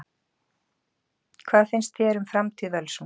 Hvað finnst þér um framtíð Völsungs?